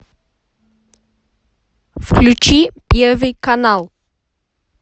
включи первый канал